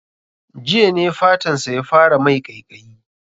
Jiya ne fatan sa ya fara mai ƙaiƙayi